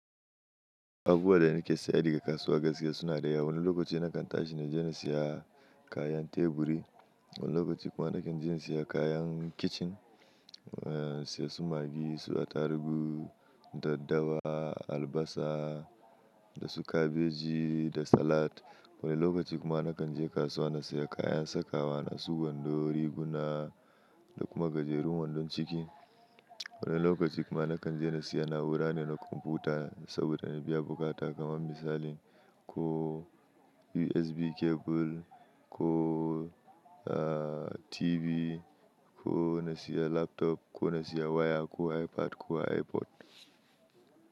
Haguwa da ni ke sayar da kasuwa gaskiya suna da yawa. Wani lokaci na kan tashi na je na siya kayan teburi. Wani lokaci kuma na kan je na siya kayan kicin, eh siya su magi, suya tarugu, daddawa, albasa, da su kabeji, da salat. Wani lokaci kuma na kan je kasuwa na siya kayan sakawa, na su gwando, riguna da kuma gajerun wandon ciki. Wani lokaci kuma na kan je na siya na'ura ne na kwamfuta, saboda na biya bukata kamar misalin ko USB cable, ko ah TV, ko na siya laptop, ko na siya waya, ko iPad, ko iPod.